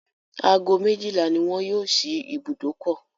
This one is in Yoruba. Ago méjìlá ni wọn yóò ṣí ibùdókọ̀.